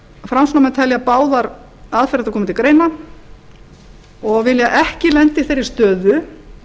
framsóknarmenn telja báðar aðferðirnar koma til greina og vilja ekki lenda í þeirri stöðu